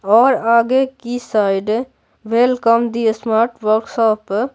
और आगे की side welcome the smart workshop --